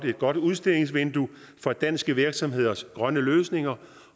et godt udstillingsvindue for danske virksomheders grønne løsninger